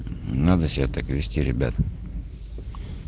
надо себя так вести ребят